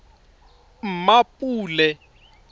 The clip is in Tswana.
mmapule